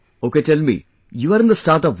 Ok tell me...You are in the startup world